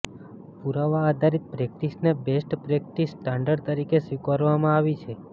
પુરાવા આધારિત પ્રેક્ટિસને બેસ્ટ પ્રેક્ટિસ સ્ટાન્ડર્ડ તરીકે સ્વીકારવામાં આવી છે